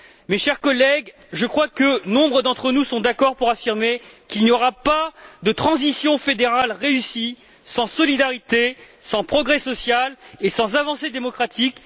Mes chers collègues, nombre d'entre nous sont d'accord pour affirmer qu'il n'y aura pas de transition fédérale réussie sans solidarité, sans progrès social et sans avancée démocratique.